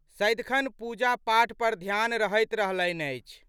सदिखन पूजापाठ पर ध्यान रहैत रहलनि अछि।